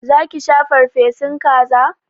Za ki sha farfesun kaza?